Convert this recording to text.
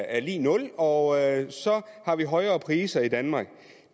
er lig nul og så har vi højere priser i danmark